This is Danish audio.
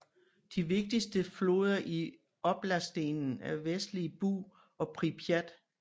De vigtigste floder i oblastenen er Vestlige Bug og Pripjat